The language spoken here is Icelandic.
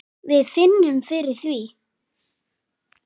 Við finnum fyrir því.